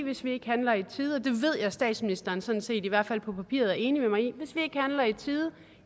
hvis vi ikke handler i tide og det ved jeg at statsministeren sådan set i hvert fald på papiret er enig